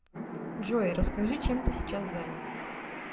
джой расскажи чем ты сейчас занят